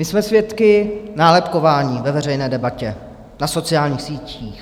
My jsme svědky nálepkování ve veřejné debatě, na sociálních sítích.